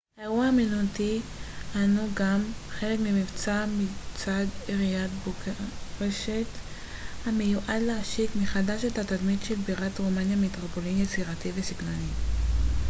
האירוע האמנותי הנו גם חלק ממבצע מצד עיריית בוקרשט המיועד להשיק מחדש את התדמית של בירת רומניה כמטרופולין יצירתי וססגוני